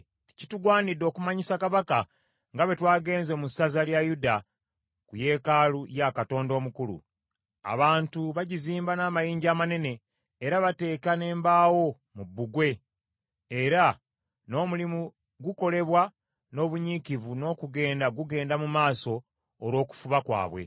Kitugwanidde okumanyisa kabaka nga bwe twagenze mu ssaza lya Yuda ku yeekaalu ya Katonda omukulu. Abantu bagizimba n’amayinja amanene era bateeka n’embaawo mu bbugwe, era n’omulimu gukolebwa n’obunyiikivu n’okugenda gugenda mu maaso olw’okufuba kwabwe.